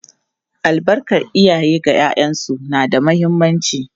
Albarkar iyaye ga ’ya’yansu na da muhimmanci.